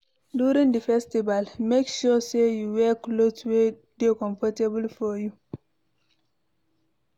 During the festival make sure say you wear cloth wey de comfortable for you